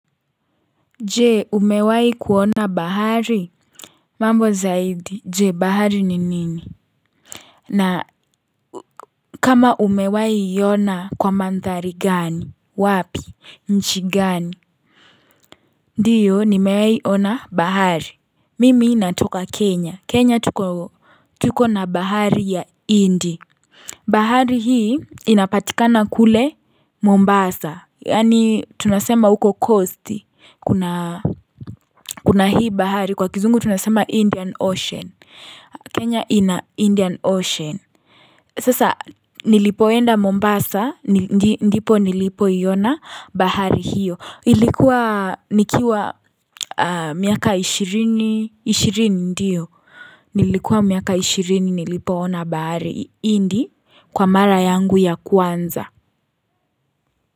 Je? Umewahi kuona bahari? Mambo zaidi. Je? Bahari ni nini? Na kama umewahi iona kwa mandhari gani? Wapi? Nchi gani? Ndiyo, nimewahi iona bahari. Mimi natoka Kenya. Kenya tuko tuko na bahari ya Indi. Bahari hii inapatikana kule Mombasa.Yaani tunasema huko coast. Kuna hii bahari kwa kizungu tunasema Indian Ocean. Kenya ina Indian Ocean. Sasa nilipoenda Mombasa.Ndipo nilipoiona bahari hiyo. Ilikuwa nikiwa miaka ishirini. Ishirini ndio. Nilikuwa miaka ishirini nilipoona bahari hindi, kwa mara yangu ya kwanza.